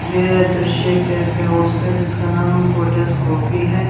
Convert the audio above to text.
ये दृश्य एक कैफे हाउस जिसका नाम कॉफी है।